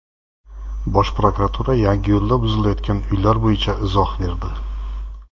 Bosh prokuratura Yangiyo‘lda buzilayotgan uylar bo‘yicha izoh berdi.